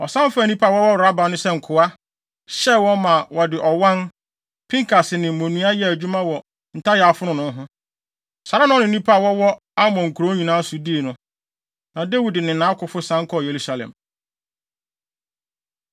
Ɔsan faa nnipa a wɔwɔ Raba no sɛ nkoa, hyɛɛ wɔn, ma wɔde ɔwan, pinkase ne mmonnua yɛɛ adwuma wɔ ntayaa fononoo ho. Saa ara na ɔne nnipa a wɔwɔ Amon nkurow nyinaa so dii no. Na Dawid ne nʼakofo san kɔɔ Yerusalem.